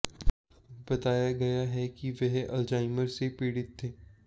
बताया गया है कि वह अल्जाइमर से पीड़ित थे